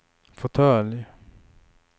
fåtölj